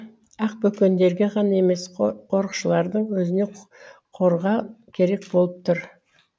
ақбөкендерге ғана емес қорықшылардың өзіне қорға керек болып тұр